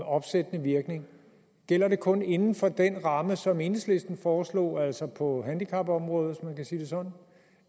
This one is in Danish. opsættende virkning gælder det kun inden for den ramme som enhedslisten foreslog altså på handicapområdet hvis man kan sige det sådan